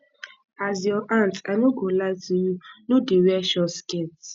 as your aunt i no go lie to you no dey wear short skirt